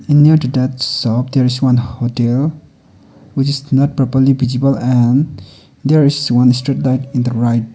and near to that shop there is one hotel which is not properly visible and there is one street light in the right.